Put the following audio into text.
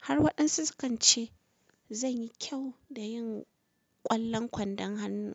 har waɗansu kance zanyi kyau da yin ƙwallon kwandon hannu.